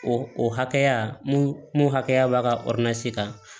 O o hakɛya mun hakɛya b'a ka kan